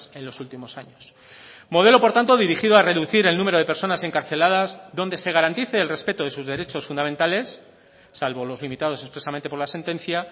en los últimos años modelo por tanto dirigido a reducir el número de personas encarceladas donde se garantice el respeto de sus derechos fundamentales salvo los limitados expresamente por la sentencia